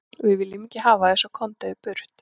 Við viljum ekki hafa þig svo, komdu þér burt.